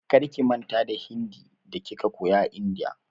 Karki manta da Hindi da kika koya a India!